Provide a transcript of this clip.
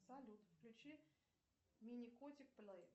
салют включи мини котик плей